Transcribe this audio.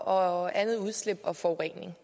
og andet udslip og forurening